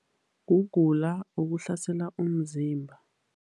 Kugula okuhlasela umzimba.